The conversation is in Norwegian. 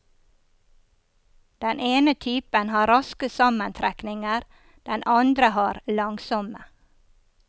Den ene typen har raske sammentrekninger, den andre har langsomme.